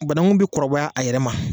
Banangun bɛ kɔrɔbaya a yɛrɛ ma.